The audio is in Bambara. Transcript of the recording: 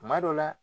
Kuma dɔ la